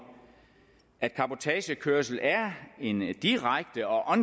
at cabotagekørsel er en direkte og